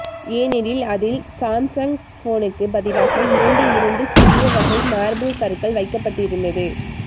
ஏனெனில் அதில் சாம்சங் போனுக்கு பதிலாக இரண்டு இரண்டு சிறிய வகை மார்பிள் கற்கள் வைக்கப்பட்டிருந்தது